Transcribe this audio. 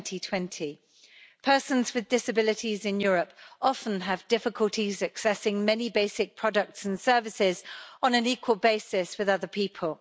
2020. Persons with disabilities in Europe often have difficulties accessing many basic products and services on an equal basis with other people.